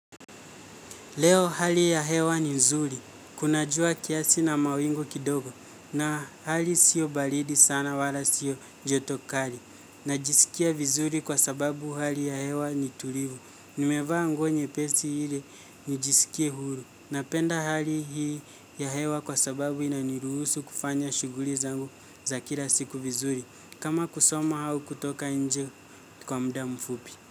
Leo hali ya hewa ni nzuri, kuna jua kiasi na mawingu kidogo na hali sio balidi sana wala sio joto kali. Najisikia vizuri kwa sababu hali ya hewa ni tulivu, nimevaa nguo nyepesi ili nijisikie huru. Napenda hali hii ya hewa kwa sababu inaniruhusu kufanya shuguli zangu za kila siku vizuri, kama kusoma au kutoka nje kwa muda mfupi.